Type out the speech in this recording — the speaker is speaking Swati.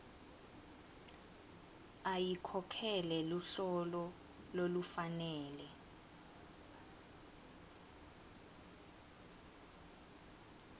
ayikhokhele luhlolo lolufanele